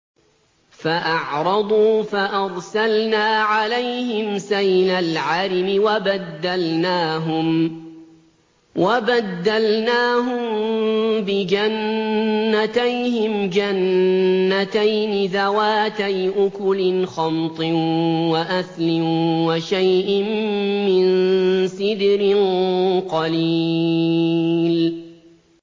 فَأَعْرَضُوا فَأَرْسَلْنَا عَلَيْهِمْ سَيْلَ الْعَرِمِ وَبَدَّلْنَاهُم بِجَنَّتَيْهِمْ جَنَّتَيْنِ ذَوَاتَيْ أُكُلٍ خَمْطٍ وَأَثْلٍ وَشَيْءٍ مِّن سِدْرٍ قَلِيلٍ